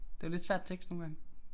Det var lidt svært tekst nogle gange